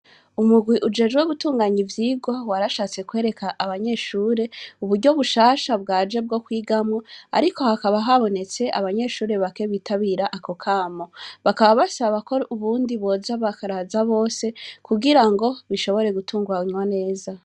Umugwi ujejwe gutunganya ivyigwa warashatse kwereka abanyeshure uburyo bushasha bwaje bwo kwigamwo ariko hakaba habonestee abanyeshure bake bitabira ako kamo, bakaba basaba ko ubundi boza bakaza bose kugirango bishobore gutunganywa neza.